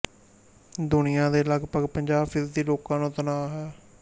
ਦੁਨੀਆ ਦੇ ਲਗਪਗ ਪੰਜਾਹ ਫ਼ੀਸਦੀ ਲੋਕਾਂ ਨੂੰ ਤਣਾਅ ਹੈ